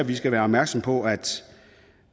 vi skal være opmærksomme på